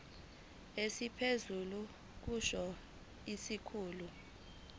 esiphezulu kusho isikhulu